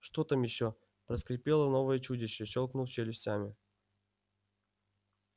что там ещё проскрипело новое чудище щёлкнув челюстями